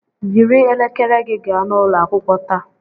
Yiri elekere gị gaa n'ụlọ akwụkwọ taa